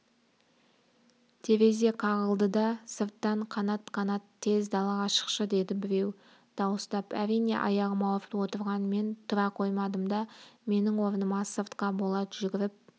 терезе қағылды да сырттан қанат қанат тез далаға шықшы деді біреу дауыстап әрине аяғым ауырып отырған мен тұра қоймадым да менің орныма сыртқа болат жүгіріп